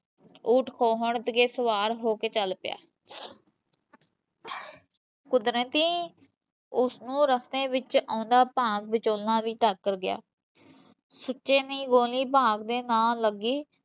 ਊਠ ਖੋਹਣ ਤੇ ਸਵਾਰ ਹੋ ਕੇ ਚੱਲ ਪਿਆ ਕੁਦਰਤੀ, ਉਸਨੂੰ ਰਸਤੇ ਵਿਚ ਆਉਂਦਾ ਭਾਗ ਵਿਚੋਲਾ ਵੀ ਟਾਕਰ ਗਿਆ ਸੁੱਚੇ ਦੀ ਗੋਲੀ ਭਾਗ ਦੇ ਨਾ ਲੱਗੀ